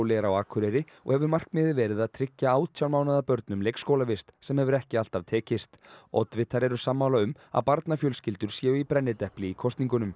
er á Akureyri og hefur markmiðið verið að tryggja átján mánaða börnum leikskólavist sem hefur ekki alltaf tekist oddvitar eru sammála um að barnafjölskyldur séu í brennidepli í kosningunum